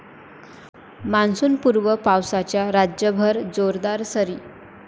मान्सूनपूर्व पावसाच्या राज्यभर जोरदार सरी